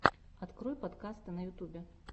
открой подкасты на ютюбе